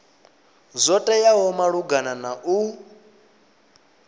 zwo teaho malugana na u